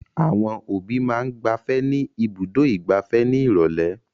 Àwọn òbí máa ń gbafẹ́ ní Ibùdó-ìgbafẹ́ ní ìrọ́lẹ́.